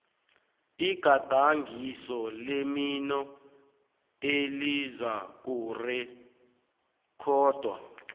igadangiso lemino elizakurekhodwa